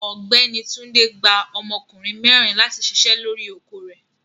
Ọgbẹni Túndé gbà ọmọkùnrin mẹrin láti ṣíṣẹ̀ lọ́ri oko rẹ̀.